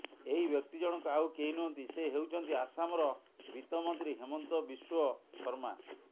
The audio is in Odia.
ଏହି ବ୍ୟକ୍ତି ଜଣକ ଆଉ କେହି ନୁହଁନ୍ତି ସେ ହେଉଛନ୍ତି ଆସାମର ବିତ୍ତମନ୍ତ୍ରୀ ହେମନ୍ତ ବିଶ୍ବ ଶର୍ମା